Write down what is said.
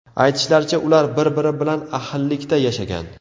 Aytishlaricha, ular bir-biri bilan ahillikda yashagan.